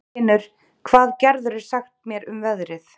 Þinur, hvað geturðu sagt mér um veðrið?